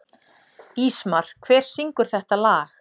Ísmar, hver syngur þetta lag?